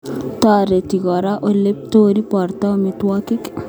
Toreti kora ole iptoi borto amitwogik